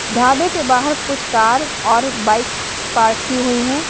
ढाबे के बाहर कुछ कार और बाइक्स पार्क की हुई है।